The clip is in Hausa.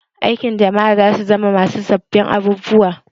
Aikin jama'a za su zama masu sabbin abubuwa